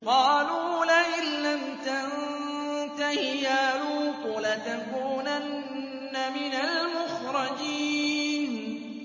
قَالُوا لَئِن لَّمْ تَنتَهِ يَا لُوطُ لَتَكُونَنَّ مِنَ الْمُخْرَجِينَ